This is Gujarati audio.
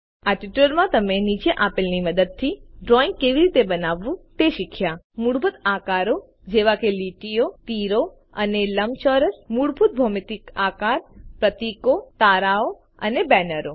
આ ટ્યુટોરીયલમાં તમે નીચેલ આપેલ ની મદદથી ડ્રોઈંગ કેવી રીતે બનાવવું તે શીખ્યા160 મૂળભૂત આકારો જેવા કે લીટીઓ તીરો એરોઝ અને લંબચોરસ મૂળભૂત ભૌમિતિક આકાર પ્રતિકો તારાઓ અને બેનરો